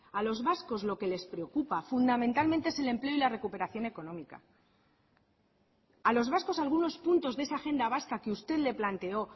a los vascos lo que les preocupa fundamentalmente es el empleo y la recuperación económica a los vascos algunos puntos de esa agenda vasca que usted le planteó